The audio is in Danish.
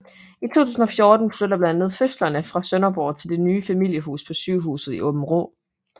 I 2014 flytter blandt andet fødslerne fra Sønderborg til det nye familiehus på sygehuset i Aabenraa